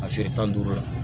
A feere tan ni duuru la